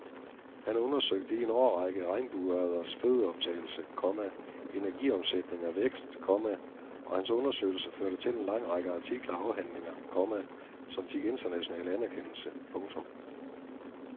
Han undersøgte i en årrække regnbueørreders fødeoptagelse, komma energiomsætning og vækst, komma og hans undersøgelser førte til en lang række artikler og afhandlinger, komma som fik international anerkendelse. punktum